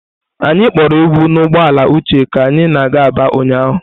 Anyị kporo egwu n'ụgbọala Uche ka anyị na-aga Aba ụnyahụ.